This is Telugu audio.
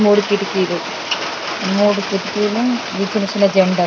మూడు కిటికీలు మూడు కిటికీలు చిన్న చిన్న జండాలు.